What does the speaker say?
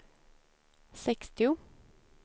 sextio